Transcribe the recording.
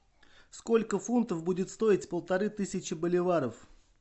сколько фунтов будет стоить полторы тысячи боливаров